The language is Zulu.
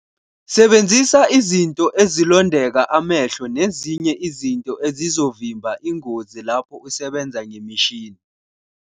Sebenzisa izinto ezilondeka amehlo nezinye izinto ezizovimba ingozi lapho usebenza ngemishini.